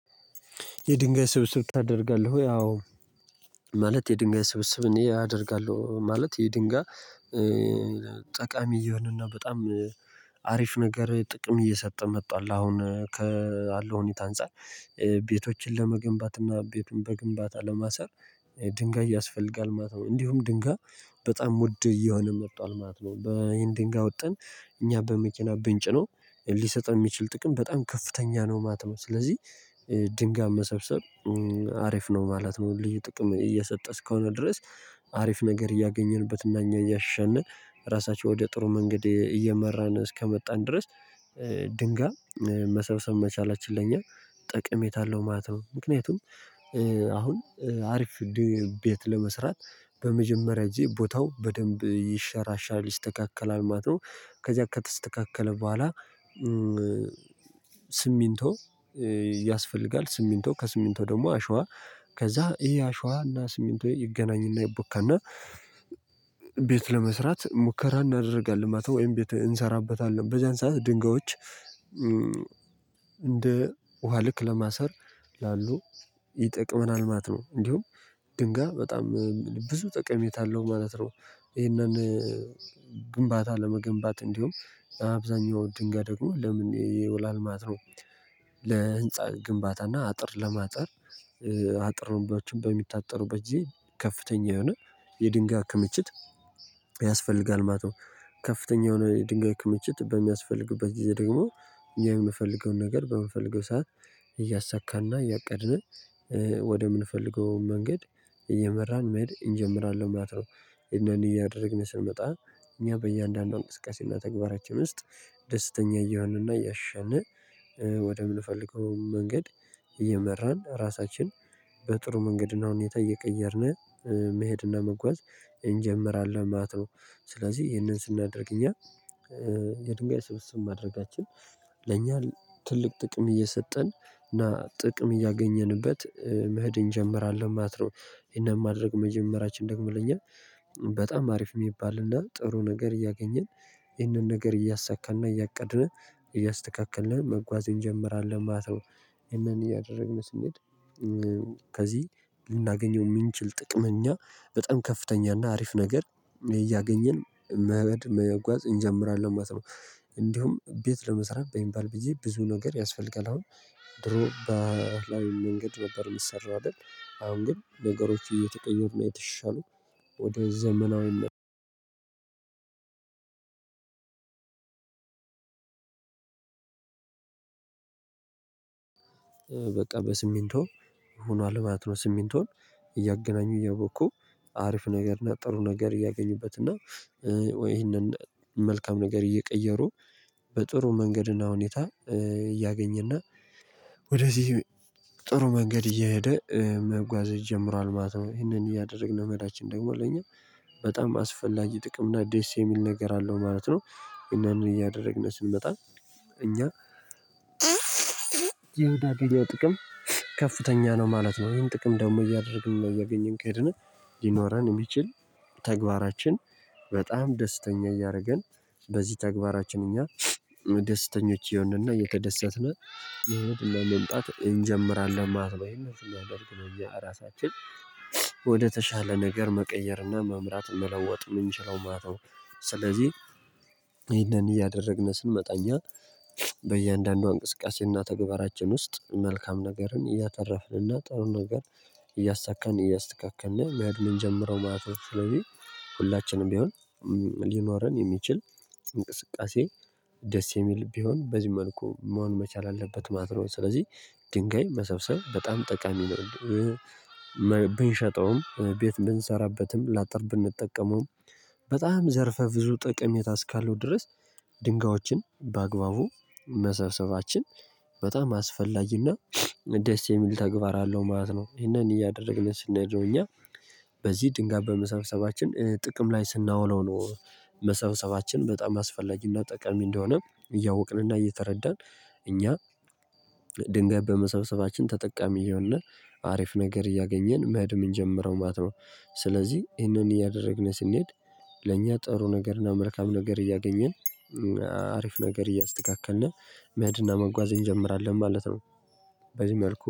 የድንጋይ ስብስብ ታደርጋለህ ወይ አዎ ማለት የድንጋይ ስብስብ እኔ አደርጋለሁ ማለት የድንጋይ ጠቃሚ እየሆነና በጣም አሪፍ ነገር ጥቅም እየሰጠ መቷል አሁን ካለው ሁኔታ አንፃር። ቤቶችን ለመገንባት እና ቤትን በግንባታ ለማሰር ድንጋይ ያስፈልጋል ማለት ነው። እንዲሁም ድንጋይ በጣም ውድ እየሆነ መቷል ማለት ነው። ይሄን ድንጋይ አወጥተን እኛ በመኪና ብንጭነው ሊሰጥ የሚችል ጥቅም በጣም ከፍተኛ ነው ማለት ነው ስለዚህ ድንጋይ መሰብሰብ አሪፍ ነው ማለት ነው። ልዩ ጥቅም እየሰጠ እስከሆነ ድረስ አሪፍ ነገር እያገኘንበት እና እኛ እያሻሻልን ራሳቸው ወደ ጥሩ መንገድ እየመራን እስከመጣን ድረስ ድንጋይ መሰብሰብ መቻላችን ለእኛ ጠቅሜታ አለው ማለት ነው። ምክንያቱም አሁን አሪፍ ቤት ለመስራት በመጀመሪያ ቦታው በደንብ ይሸራሻል ይስተካከላል ማለት ነው ከዚያ ከተስተካከለ በኋላ ስሚንቶ ያስፈልጋል፤ ስሚንቶ ከስሚንቶ ደግሞ አሸዋ ከዛ ይሄ አሸዋና ስሚንቶ ይገናኝና ይቦካና ቤት ለመስራት ሙከራ እናደርጋለን ማለት ነው። ወይም ቤት እንሰራበታለን በዛን ሰዓት ድንጋዮች እንደ ውሃ ልክ ለማሰር ላሉ ይጠቅመናል ማለት ነው። እንዲሁም ድንጋይ በጣም ብዙ ጠቀሜታ አለው ማለት ነውደ። ይሄንን ግንባታ ለመገንባት እንዲሁም አብዛኛው ድንጋድ ደግሞ ለምን ይውላል ማጥሮ ለህንፃ ግንባታና አጥር ለማጠር፤ አጥር ነበሮችን በሚታጠሩበት ጊዜ ከፍተኛ የሆነ የድንጋይ ክምችት ያስፈልጋል ማለት ነው። ከፍተኛ የሆነ የድንጋይ ክምችት በሚያስፈልግበት ጊዜ ደግሞ የምፈልገውን ነገር በምንፈልገው ሰዓት እያሳካና እያቀድን ወደምንፈልገው መንገድ እየመራን መሄድ እንጀምራለን ማለት ነው። እነኚህን እያደረግን ስንመጣ እኛ በእያንዳንዷ እንስቃሴና ተግባራችን ውስጥ ደስተኛ እየሆንንና እያሻሻልን ወደምንፈልገው መንገድ እየመራን ራሳችን በጥሩ መንገድና ሁኔታ እየቀየርን መሄድና መጓዝ እንጀምራለን ማለት ነው። ስለዚህ ይህንን ስናደርግ እኛ የድንጋይ ስብስብ ማድረጋችን ለእኛ ትልቅ ጥቅም እየሰጠን እና ጥቅም እያገኘንበት መሄድ እንጀምራለን ማለት ነው ይሄን ማድረግ መጀመሪያችን ደግሞ ለኛ በጣም አሪፍ የሚባልና ጥሩ ነገር እያገኘን ይህንን ነገር እያሳካንና፤ እያቀድን፤ እያስተካከልን መጓዝ እንጀምራለን ማለት ነው። ይህንን እያደረግን ስንሄድ ከዚህ ልናገኘው የምንችል ጥቅመኛ፤ በጣም ከፍተኛ እና አሪፍ ነገር እያገኘን መጓዝ እንጀምራለን ማለት ነው እንዲሁም፤ ቤት ለመስራት በሚባል ጊዜ ብዙ ነገር ያስፈልጋል አሁን። ድሮ በተለያየ መንገድ ነበር የሚሰራው አይደል አሁን ግን ነገሮች እየተቀየሩ እና እየተሻሻሉ ወደ ዘመናዊ በቃ ሲሚንቶ ሆኗል ማለት ነው። ስሚንቶን እያገናኙ እያቦኩ አሪፍ ነገር እና ጥሩ ነገር እያገኙበት ነው። ወይ ይሄንን መልካም ነገር እየቀየሩ በጥሩ መንገድና ሁኔታ እያገኘና ወደዚህ ጥሩ መንገድ እየሄደ መጓዝ ጀምሯል ማለት ነው። ይሄንን እያደረግን መሄዳችን ደግሞ ለኛ በጣም አስፈላጊ ጥቅም እና ደስ የሚል ነገር አለው ማለት ነው። ይሄንን እያደረግን ስንመጣ እኛ የምናገኘው ጥቅም ከፍተኛ ነው ማለት ነው። ይህን ጥቅም ደግሞ እያደረግን ና እያገኝን ከሄድን ሊኖረን የሚችል ተግባራችን በጣም ደስተኛ እያደረገን በዚህ ተግባራችን እኛ ደስተኞች ይሆንና እየተደሰትን የህይወትን ለመምጣት እንጀምራለን ማለት ነው የሚያደርግ ነው እኛ ራሳችን ወደተሻለ ነገር መቀየርና መምራት መለወጥ የምንችለው ማለት ነው ስለዚህ ይሄንን እያደረግን ስንመጣ እኛ በእያንዳንዷ እንቅስቃሴና ተግባራችን ውስጥ መልካም ነገርን እያተረፍንና ጥሩን ነገር እያሳካን እያስተካከልን መሄድ የምንጀምረው ማለት ነው። ሁላችንም ቢሆን ሊኖረን የሚችል እንቅስቃሴ ደስ የሚል ቢሆን በዚህ መልኩ መሆን መቻል አለበት ማለት ነው። ስለዚህ ድንጋይ መሰብሰብ በጣም ጠቃሚ ነው ብንሸጠውም፤ ቤት ብንሰራበትም፤ ላጥር ብንጠቀመውም፤ በጣም ዘርፈ ብዙ ጠቀሜታ እስካለው ድረስ ድንጋዮችን በአግባቡ መሰብሰባችን በጣም አስፈላጊና ደስ የሚል ተግባር አለው ማለት ነው። ይሄንን እያደረግን ስናደርገው እኛ በዚህ ድንጋይ በመሰብሰባችን ጥቅም ላይ ስናውለው ነው መሰብሰባችን በጣም አስፈላጊና ጠቀሚ እንደሆነ እያወቅንና እየተረዳን እኛ ድንጋይ በመሰብሰባችን ተጠቃሚ እሆንን አሪፍ ነገር እያገኘን መሄድ እንጀምረው ማለት ነው ስለዚህ ይሄንን እያደረግን ስንሄድ ለእኛ ጠሩ ነገርና መልካም ነገር እያገኘን አሪፍ ነገር እያስተካከልን መሄድና መጓዝ እንጀምራለን ማለት ነው በዚህ መልኩ